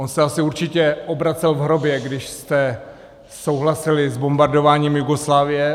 On se asi určitě obracel v hrobě, když jste souhlasili s bombardováním Jugoslávie.